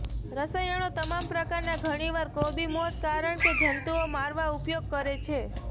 રસાયણો તમામ પ્રકારના ઘણીવાર કોબી મોથ કારણ કે જંતુઓ મારવા ઉપયોગ કરે છે